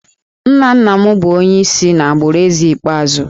Nna nna m bụ onye si n’agbụrụ Eze ikpeazụ